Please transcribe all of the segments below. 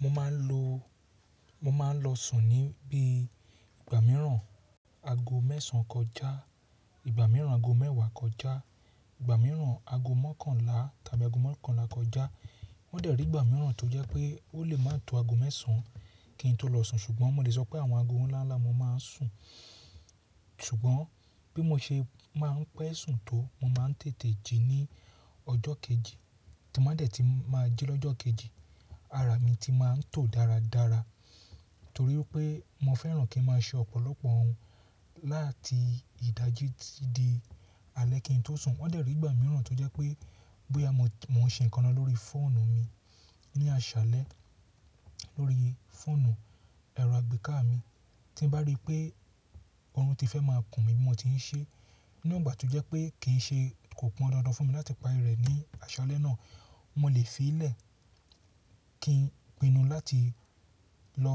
Mo máa ń lọ, mo máa ń lọ sùn ní bí i gbà mìíràn aago mẹ́sàn-án kọjá, ìgbà mìíràn aago mẹ́wàá kọjá, ìgbà mìíràn aago mọ́kànlá tàbí aago mọ́kànlá kọjá. O dẹ̀ rí ìgbà mìíràn tó jẹ́ pé ó lè máa tó aago mẹ́sàn-án kí n tó lọ sùn. Ṣùgbọ́n mo lè sọ pé àwọn aago ńlá ńlá mo máa ń sùn. Ṣùgbọ́n bí mo ṣe máa ń pẹ́ sùn tó, mo máa ń tètè jí ní ọjọ́ kejì. Tí m ba dẹ̀ tun máa ń jí lọ́jọ́ kejì, ara mi ti máa ń tò dáradára torí pé mo fẹ́ràn kí ń máa ṣe ọ̀pọ̀lọpọ̀ ohun láti ìdájí ti ti di alẹ́ kí n tó sùn. Wọ́n dẹ̀ rí ìgbà mìíràn tó jẹ́ pé bóyá mo ń ṣe nǹkan lọ lórí fóònù mi ní aṣálẹ́, lórí fóònù ẹ̀rọ àgbéká mi, tí n bá rí pé ọorùn ti fẹ́ máa kùn mí bí mo ti ń ṣe, ní ìgbà tó jẹ́ pé kì í ṣe- kò pọn dandan fún mi láti parí rẹ̀ ní aṣálẹ́ náà, mo lè fi í lẹ̀ kí n pinnu láti lọ,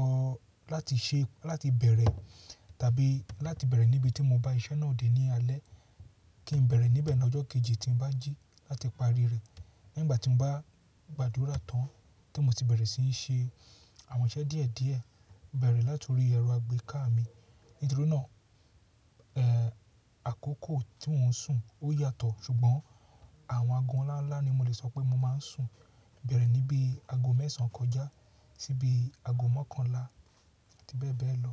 láti ṣe, láti bẹ̀rẹ̀ tàbí láti bẹ̀rẹ̀ níbi tí mo bá iṣẹ́ náà dé ní alẹ́. Kí n bẹ̀rẹ̀ níbẹ̀ lọ́jọ́ kejì tí n bá jí láti parí rẹ̀. Ní ìgbà tí mo bá gbàdúrà tán tí mo sì bẹ̀rẹ̀ sí ń ṣe àwọn iṣẹ́ díẹ̀ díẹ̀, bẹ̀rẹ̀ láti orí ẹ̀rọ àgbéká mi. Nítorí náà, ẹ́, àkókò tí mò ń sùn ó yàtọ̀. Ṣùgbọ́n àwọn aago ńlá ńlá ni mo lè sọ pé mo máa ń sùn. Bẹ̀rẹ̀ níbí aago mẹ́sàn-án kọjá sí bí aago mọ́kànlá àti bẹ́ẹ̀ bẹ́ẹ̀ lọ.